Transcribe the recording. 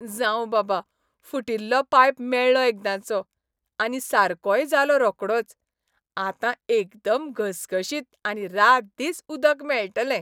जावं बाबा, फुटिल्लो पायप मेळ्ळो एकदांचो. आनी सारकोय जालो रोकडोच. आतां एकदम घसघशीत आनी रात दीस उदक मेळटलें.